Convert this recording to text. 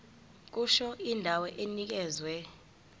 kusho indawo enikezwe